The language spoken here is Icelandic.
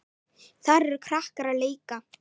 Þar eru krakkar að leika.